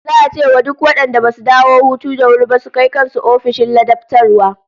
Za'a ce wa duk wadanda basu dawo hutu da wuri ba su kai kan su ofishin ladabtarwa